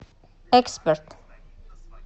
эксперт